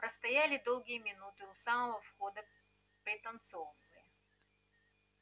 простояли долгие минуты у самого входа пританцовывая